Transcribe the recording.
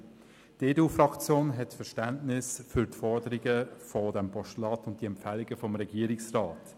Die EDU-Fraktion hat Verständnis für die Forderungen des Postulats und für die Empfehlungen des Regierungsrats.